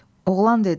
Oğlan dedi: